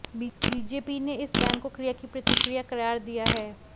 BJP ने इस बयान को क्रिया की प्रतिक्रिया करार दिया है